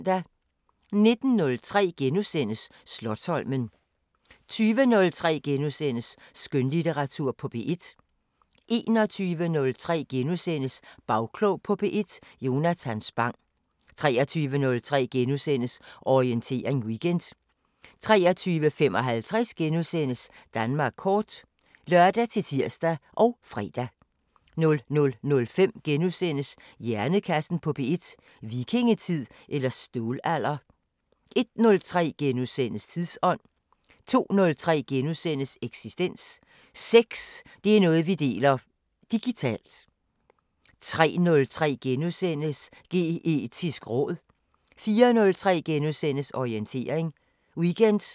19:03: Slotsholmen * 20:03: Skønlitteratur på P1 * 21:03: Bagklog på P1: Jonathan Spang * 23:03: Orientering Weekend * 23:55: Danmark kort *(lør-tir og fre) 00:05: Hjernekassen på P1: Vikingetid eller Stålalder? * 01:03: Tidsånd * 02:03: Eksistens: Sex, det er noget vi deler; digitalt * 03:03: Geetisk råd * 04:03: Orientering Weekend *